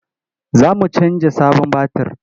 Za mu canja sabon batir.